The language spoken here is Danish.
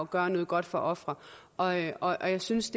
gøre noget godt for ofre og jeg og jeg synes